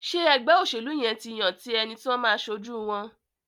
Ṣe ègbé òṣèlú yén tí yàn ti ẹní tí o má aṣojú wón?